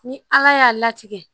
Ni ala y'a latigɛ